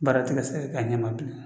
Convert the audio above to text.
Baara ti ka se ka kɛ a ɲɛ ma bilen